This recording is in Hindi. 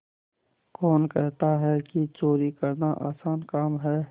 कौन कहता है कि चोरी करना आसान काम है